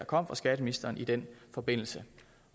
kom fra skatteministeren i den forbindelse